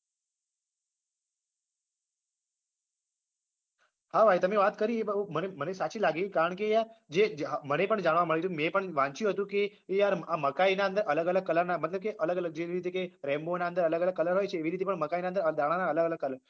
હા ભાઈ તમે વાત કરી એ મને મને સાચી જ લાગી કારણ કે યાર જે મને પણ જાણવું મળ્યું તું મેં પણ વાંચ્યું હતું કે યાર આ મકાઈના અંદર અલગ અલગ colour ના મતલબ કે અલગ અલગ જેવી રીતે કે rainbow ના અંદર અલગ અલગ colour હોય છે એવી રીતે પણ મકાઈના અંદર દાણાના અલગ અલગ colour